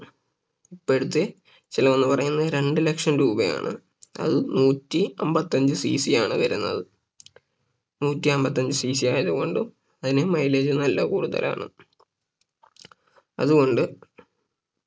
ഇപ്പോഴത്തെ ചിലവ് എന്ന് പറയുന്നത് രണ്ട് ലക്ഷം രൂപയാണ് അതും നൂറ്റി അമ്പത്തഞ്ച് CC ആണ് വരുന്നത് നൂറ്റി അമ്പത്തഞ്ച് CC ആയത് കൊണ്ടും അതിന് Mileage നല്ല കൂടുതലാണ് അതുകൊണ്ട്